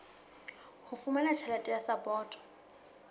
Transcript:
ho fumana tjhelete ya sapoto